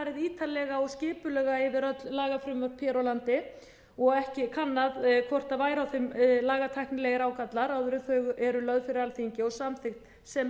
ítarlega og skipulega yfir öll lagafrumvörp hér á landi og ekki kannað hvort væri á þeim lagatæknilegir ágallar áður en þau eru lögð fyrir alþingi og samþykkt sem